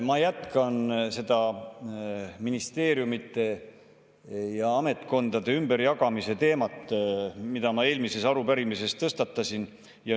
Ma jätkan seda ministeeriumide ja ametkondade ümberjagamise teemat, mille ma eelmises arupärimises tõstatasin.